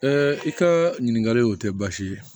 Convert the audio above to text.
i ka ɲininkali o tɛ baasi ye